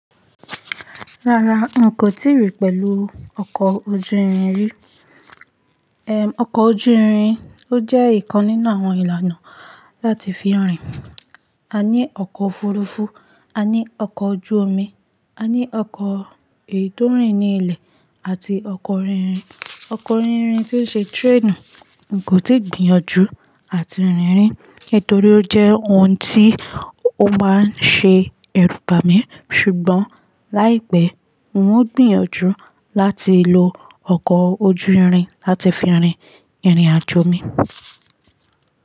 Rárá n kò tíì rí pẹ̀lú ọkọ̀ ojú irin rí. Èm, ọkọ̀ ojú irin ó jẹ́ ìkan nínú àwọn ìlànà láti fi rìn. A ní ọkọ̀ òfurufú, a ní ọkọ̀ ojú omi, a ní ọkọ̀ èyi tò rìn ní ilẹ̀ àti ọkọ̀ orí irin. Ọkọ̀ orí orin tí ó ṣe train kò tíì gbìyànjú àti rìn rìi nítorí ó jẹ́ ohun tí ó máa ń ṣe ẹrúbami ṣùgbọ́n láìpẹ́ n ó gbìyànjú láti lo ọkọ̀ ojú irin láti fi rìn ìrìnàjò mi.